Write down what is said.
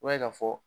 I b'a ye ka fɔ